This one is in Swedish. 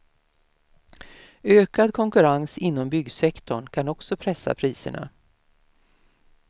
Ökad konkurrens inom byggsektorn kan också pressa priserna.